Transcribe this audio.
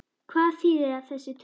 Hvað þýða þessar tölur?